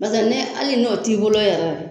Baseke ne hali n'o t'i bolo yɛrɛ